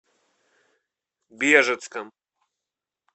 бежецком